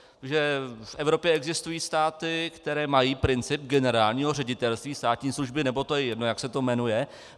Že v Evropě existují státy, které mají princip generálního ředitelství státní služby, nebo to je jedno, jak se to jmenuje.